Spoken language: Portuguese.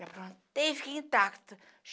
Me aprontei, fiquei intacta.